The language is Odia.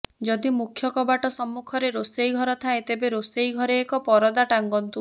ଯଦି ମୁଖ୍ୟ କବାଟ ସମ୍ମୁଖରେ ରୋଷେଇ ଘର ଥାଏ ତେବେ ରୋଷେଇ ଘରେ ଏକ ପରଦା ଟାଙ୍ଗନ୍ତୁ